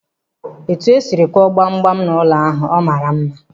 Etu e sịrị kụọ gbam gbam n'ụlọ ahụ, ọ maara mma?